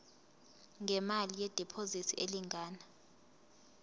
ngemali yediphozithi elingana